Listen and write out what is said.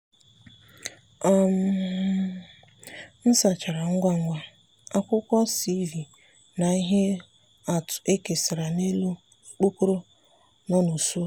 um m sachara ngwa ngwa—akwụkwọ cv na ihe atụ e kesara n’elu okpokoro nọ na usekwu.